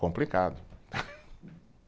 Complicado.